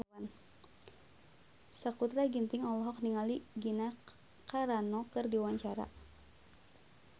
Sakutra Ginting olohok ningali Gina Carano keur diwawancara